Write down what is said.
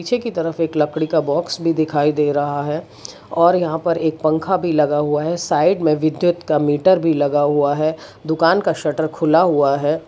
छे एक तरफ एक लकड़ी का बॉक्स भी दिखाई दे रहा है और यहां पर एक पंखा भी लगा हुआ है साइड में विद्युत का मीटर भी लगा हुआ है दुकान का शटर खुला हुआ है।